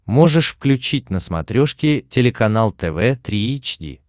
можешь включить на смотрешке телеканал тв три эйч ди